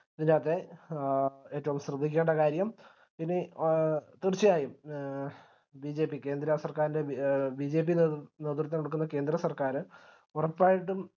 ഇന്നത്തെ ഏറ്റവും ശ്രദ്ധിക്കേണ്ട കാര്യം ഇനി തീർച്ചയായും എ BJP കേന്ദ്ര സർക്കാരിന്റെ BJP നേതൃത്വം കൊടുക്കുന്ന കേന്ദ്ര സർക്കാര് ഉറപ്പായിട്ടും